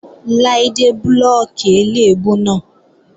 Láídé blóòkì eléèbú náà.